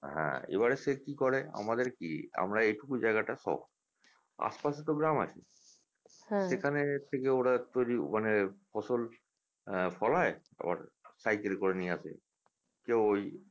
হ্যাঁ এবারে সে কি করে আমাদের কি আমরা এটুকু জায়গাটা শহর আশপাশে তো গ্রাম আছে সেখানে থেকে ওরা তৈরি মানে ফসল আহ ফলায় আবার সাইকেল করে নিয়ে আসে কেউ ঐ